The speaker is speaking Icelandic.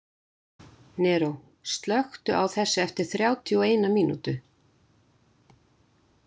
Neró, slökktu á þessu eftir þrjátíu og eina mínútur.